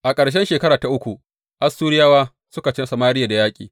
A ƙarshen shekara ta uku, Assuriyawa suka ci Samariya da yaƙi.